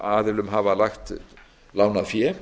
aðilum hafa lánað fé